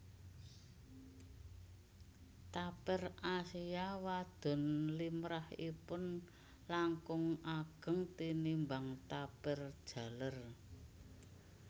Tapir Asia wadon limrahipun langkung ageng tinimbang tapir jaler